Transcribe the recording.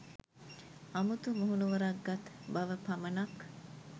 අමුතු මුහුණුවරක් ගත් බව පමණක්